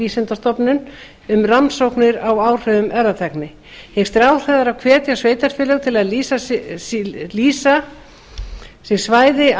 vísindastofnun um rannsóknir á áhrifum erfðatækni hyggst ráðherra hvetja sveitarfélög til að lýsa sér svæði